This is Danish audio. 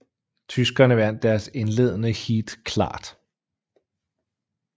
Tyskerne vandt deres indledende heat klart